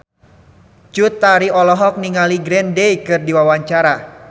Cut Tari olohok ningali Green Day keur diwawancara